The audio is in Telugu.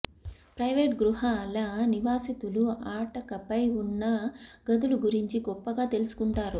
ప్రైవేట్ గృహాల నివాసితులు అటకపై ఉన్న గదులు గురించి గొప్పగా తెలుసుకుంటారు